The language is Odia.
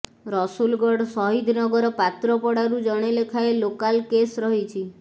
ରସୁଲଗଡ଼ ସହିଦନଗର ପାତ୍ରପଡ଼ାରୁ ଜଣେ ଲେଖାଏଁ ଲୋକାଲ୍ କେସ୍ ରହିଛି